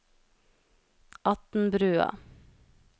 Atnbrua